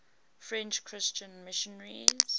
french christian missionaries